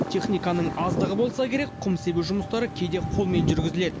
техниканың аздығы болса керек құм себу жұмыстары кейде қолмен жүргізіледі